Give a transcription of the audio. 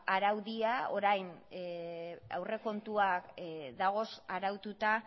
orain aurrekontuak dagoz araututa